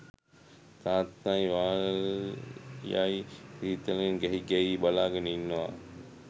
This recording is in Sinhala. තාත්තයි වාල්යයි සීතලෙන් ගැහි ගැහී බලාගෙන ඉන්නව